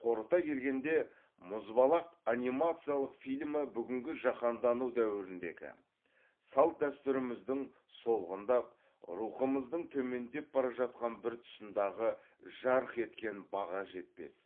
қорыта келгенде мұзбалақ анимациялық фильмі бүгінгі жаһандану дәуіріндегі салт дәстүріміздің солғындап рухымыздың төмендеп бара жатқан бір тұсындағы жарық еткен баға жетпес